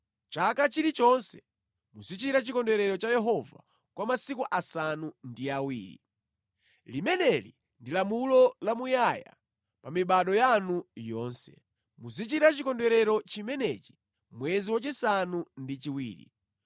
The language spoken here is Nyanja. Chaka chilichonse muzichita chikondwerero cha Yehova kwa masiku asanu ndi awiri. Limeneli ndi lamulo lamuyaya pa mibado yanu yonse. Muzichita chikondwerero chimenechi mwezi wachisanu ndi chiwiri.